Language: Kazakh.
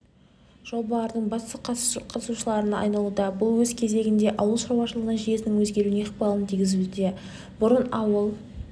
жобалардың басты қатысушыларына айналуда бұл өз кезегінде ауыл шаруашылығы жүйесінің өзгеруіне ықпалын тигізуде бұрын ауыл